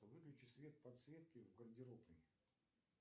выключи свет подсветки в гардеробной